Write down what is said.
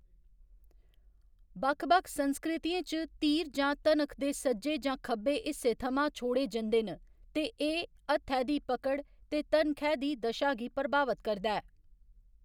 बक्ख बक्ख संस्कृतियें च, तीर जां ते धनख दे सज्जे जां खब्बे हिस्से थमां छोड़े जंदे न, ते एह्‌‌ हत्थै दी पकड़ ते धनखै दी दशा गी प्रभावत करदा ऐ।